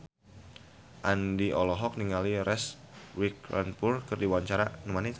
Aldi Taher olohok ningali Reese Witherspoon keur diwawancara